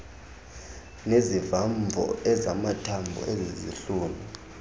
nezivamvo ezamathambo ezezihlunu